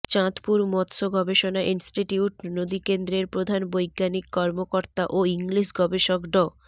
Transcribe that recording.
চাঁদপুর মৎস্য গবেষণা ইনস্টিটিউট নদীকেন্দ্রের প্রধান বৈজ্ঞানিক কর্মকর্তা ও ইলিশ গবেষক ড